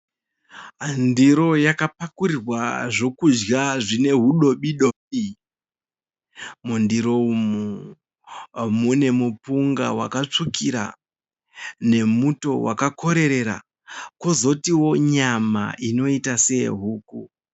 Ndiro yakapakurirwa zvokudya zvinehuzvidobidobi. Mundiro umu, mune mupunga wakatsvukira, nemuto wakakorerera, kozoitawo nyama inoita seyehuku.